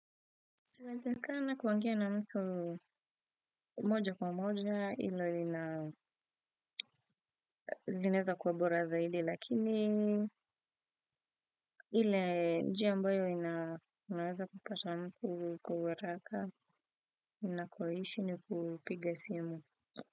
Na kuongea na mtu moja kwa moja hilo lina zinaeza kuwa bora zaidi lakini ile njia ambayo inaweza kupata mtu kwa haraka ina kwaishi ni kupiga simu.